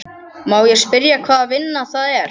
Má ég spyrja hvaða vinna það er?